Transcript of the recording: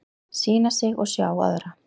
Sýna sig og sjá aðra